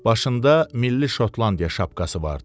Başında milli Şotlandiya şapkası vardı.